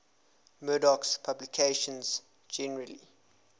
murdoch's publications generally